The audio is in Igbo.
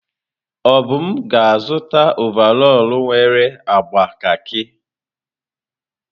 Obum ga-azụta ọvarọọr nwere agba kakị.